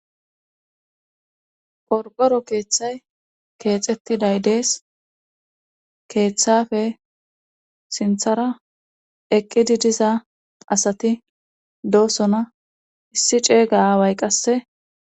qorqoro keeththay keexettiday dees keeththafe sinthara eqqidi diza asati doosona issi ceeyga away qasse